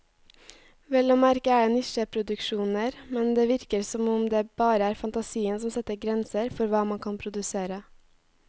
Vel å merke er det nisjeproduksjoner, men det virker som om det bare er fantasien som setter grenser for hva man kan produsere.